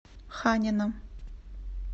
ханина